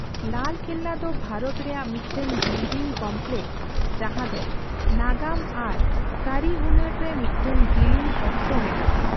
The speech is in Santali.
ᱞᱟᱞ ᱠᱮᱞᱞᱟ ᱫᱚ ᱵᱷᱟᱨᱚᱛ ᱨᱮᱭᱟᱜ ᱢᱤᱫᱴᱟᱝ ᱵᱤᱞᱰᱤᱝ ᱠᱚᱢᱯᱞᱮᱠᱥ ᱡᱟᱦᱟᱸ ᱫᱚ ᱱᱟᱜᱟᱢ ᱟᱨ ᱠᱟᱹᱨᱤᱦᱩᱱᱟᱹᱨ ᱨᱮ ᱢᱤᱫᱴᱟᱝ ᱡᱤᱞᱤᱧ ᱚᱠᱛᱚ ᱢᱮᱱᱟᱜᱼᱟ ᱾